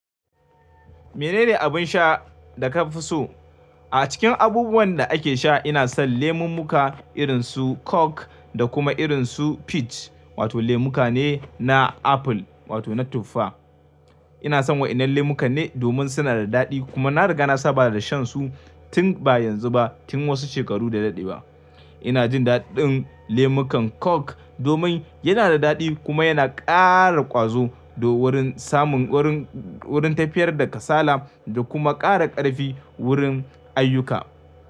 Menene abin sha da ka fi so? A cikin abubuwan da ake sha ina son lemummuka irin su Coke, da kuma irin su Peach, wato lemuka ne na apple wato na tuffa. Ina son waɗannan lemukan ne domin suna da daɗi kuma na riga na saba da shan su tun ba yanzu ba tun wasu shekaru da daɗewa. Ina jin daɗin lemukan Coke, domin yana da daɗi kuma yana ƙara ƙwazo wurin samun wurin tafiyar da kasala da kuma ƙara ƙarfi wurin ayyuka.